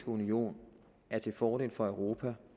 union er til fordel for europa